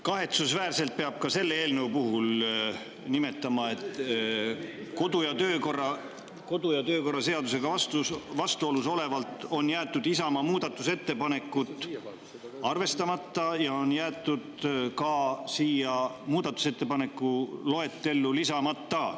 Kahetsusväärselt peab ka selle eelnõu puhul nimetama, et kodu‑ ja töökorra seadusega vastuolus olevalt on jäetud Isamaa muudatusettepanekud arvestamata ja on jäetud ka siia muudatusettepanekute loetellu lisamata.